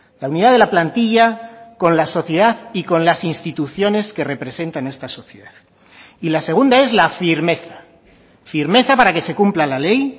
la unidad de la plantilla con la sociedad y con las instituciones que representan esta sociedad y la segunda es la firmeza firmeza para que se cumpla la ley